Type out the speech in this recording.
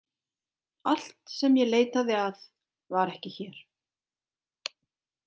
Allt sem ég leitaði að var ekki hér.